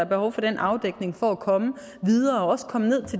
behov for den afdækning for at komme videre og også komme ned